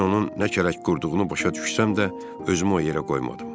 Mən onun nə kələk qurduğunu başa düşsəm də, özümü o yerə qoymadım.